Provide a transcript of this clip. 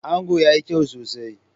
Ango yayi kyau sosai.